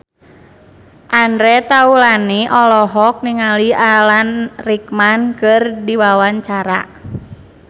Andre Taulany olohok ningali Alan Rickman keur diwawancara